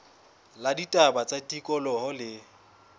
la ditaba tsa tikoloho le